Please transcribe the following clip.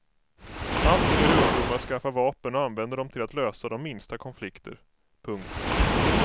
Allt fler ungdomar skaffar vapen och använder dem till att lösa de minsta konflikter. punkt